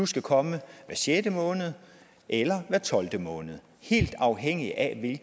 skal komme hver sjette måned eller hver tolvte måned helt afhængigt af